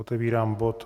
Otevírám bod